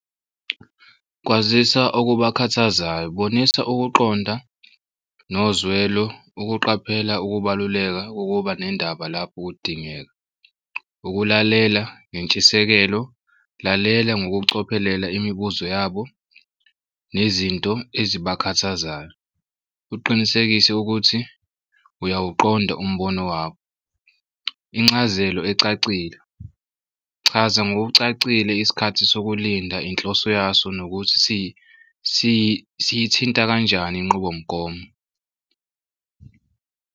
Kwazisa okubakhathazayo bonisa ukuqonda nozwelo ukuqaphela ukubaluleka kokuba nendaba lapho kudingeka. Ukulalela nentshisekelo, lalela ngokucophelela imibuzo yabo nezinto ezibakhathazayo uqinisekise ukuthi uyawuqonda umbono wabo. Incazelo ecacile, chaza ngokucacile isikhathi sokulinda inhloso yaso nokuthi siyithinta kanjani inqubomgomo.